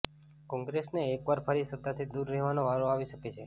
કોંગ્રેસને એકવાર ફરી સત્તાથી દૂર રહેવાનો વારો આવી શકે છે